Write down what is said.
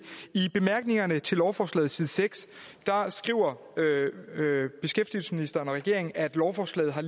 i bemærkningerne til lovforslaget på side seks skriver beskæftigelsesministeren og regeringen at lovforslaget har